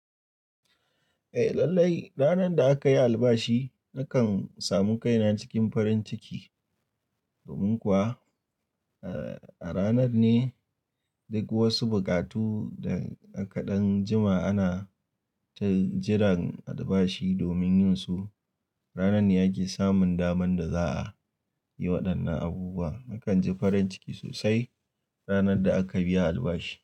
Eh lallai, ranar da aka yi albashi nakan samu kaina cikin farin ciki. Domin kuwa, eh a ranar ne duk wasu buƙatu da a ka ɗan jima ana ta jiran albashi domin yin su. Ranar ne ake samun daman da za a yi waɗannan abubuwa. Nakan ji farin ciki sosai ranar da aka biya albashi.